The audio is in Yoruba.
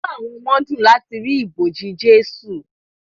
Inú àwọn ọmọ dùn láti rí ibojì Jésù